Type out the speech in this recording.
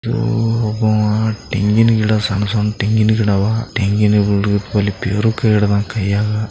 ಯೋ ಒಬವ ತೆಂಗಿನ್ ಗಿಡ ಸಣ್ ಸಣ್ ತೆಂಗಿನ್ ಗಿಡ ಅವ ತೆಂಗಿನ ಬಲು